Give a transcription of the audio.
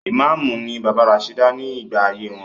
Ìmáàmù ni bàbá Rasheeda ní gbà ayé wọn.